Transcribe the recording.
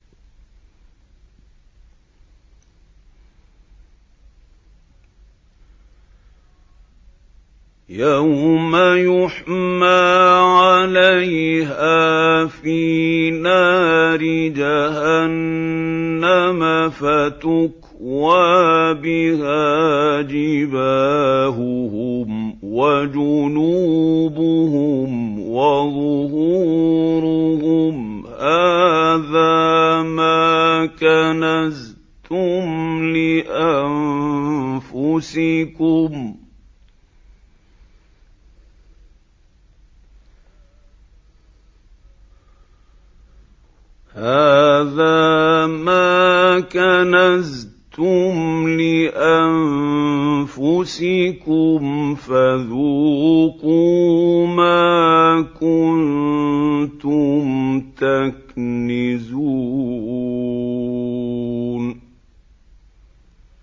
يَوْمَ يُحْمَىٰ عَلَيْهَا فِي نَارِ جَهَنَّمَ فَتُكْوَىٰ بِهَا جِبَاهُهُمْ وَجُنُوبُهُمْ وَظُهُورُهُمْ ۖ هَٰذَا مَا كَنَزْتُمْ لِأَنفُسِكُمْ فَذُوقُوا مَا كُنتُمْ تَكْنِزُونَ